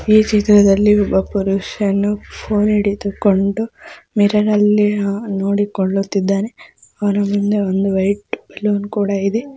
ಈ ಚಿತ್ರದಲ್ಲಿ ಒಬ್ಬ ಪುರುಷನು ಫೋನ್ ಹಿಡಿದುಕೊಂಡು ಮಿರರ್ ಅಲ್ಲಿ ಏನೋ ನೋಡಿಕೊಳ್ಳುತಿದ್ದಾನೆ. ಅವನ ಹಿಂದೆ ಒಂದು ರೆಡ್ ಬಲೂನ್ ಕೂಡ ಇದೆ.